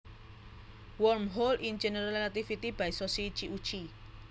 Wormholes in General Relativity by Soshichi Uchii